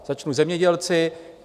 Začnu zemědělci.